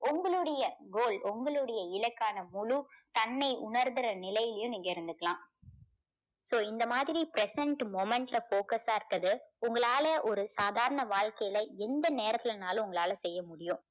உங்களுடைய goal உங்களுடைய இலக்கான முழு தன்மை உணர்கிற நிலைலயும் நீங்க இருந்துக்கலாம். so இந்த மாதிரி present moment ல focus ஆ இருக்கது உங்களால ஒரு சாதாரண வாழ்க்கையில எந்த நேரத்திலனாலும் உங்களால செய்ய முடியும்.